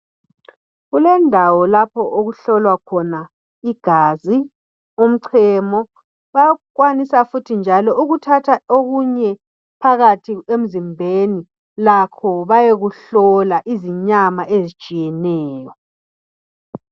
kulendawo lapho okuhlolwa khona igazi umvhemo bayakwanisa futhi njalo ukuthatha okunye phakathi emzimbeni lakho bayekuhlola izinyama ezitshiyeneyo